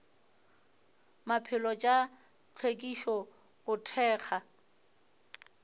maphelo tša hlwekišo go thekga